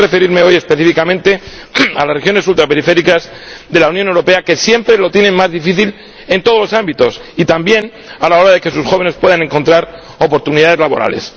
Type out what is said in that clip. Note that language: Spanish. Déjeme referirme hoy específicamente a las regiones ultraperiféricas de la Unión Europea, que siempre lo tienen más difícil en todos los ámbitos y también a la hora de que sus jóvenes puedan encontrar oportunidades laborales.